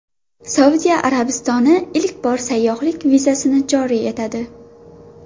Saudiya Arabistoni ilk bor sayyohlik vizasini joriy etadi.